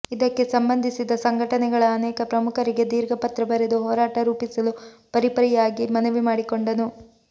ಇದಕ್ಕೆ ಸಂಬಂಧಿಸಿದ ಸಂಘಟನೆಗಳ ಅನೇಕ ಪ್ರಮುಖರಿಗೆ ದೀರ್ಘ ಪತ್ರ ಬರೆದು ಹೋರಾಟ ರೂಪಿಸಲು ಪರಿಪರಿಯಾಗಿ ಮನವಿ ಮಾಡಿಕೊಂಡನು